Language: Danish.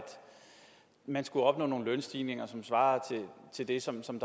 man skulle opnå nogle lønstigninger som svarede til det som som